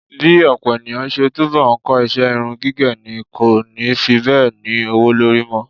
Bí ọ̀pọ̀ ènìyàn ṣe túbọ̀ ń kọ iṣẹ́ irun gígẹ̀ ni kò ni fi bẹ́ẹ̀ ní owó lórí mọ́.